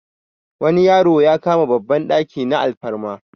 wani yaro ya kama babban daki na alfarma